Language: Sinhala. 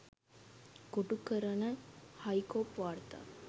කොටු කරන හයිකෝප් වාර්තා